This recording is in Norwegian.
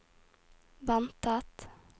ventet